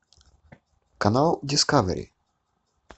канал дискавери